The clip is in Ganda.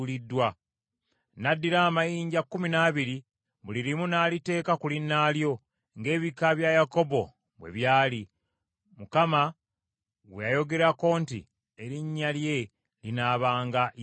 N’addira amayinja kkumi n’abiri, buli limu n’aliteeka ku linnaalyo ng’ebika bya Yakobo bwe byali, Mukama gwe yayogerako nti, “Erinnya lye linaabanga Isirayiri.”